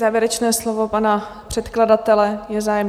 Závěrečné slovo pana předkladatele - je zájem?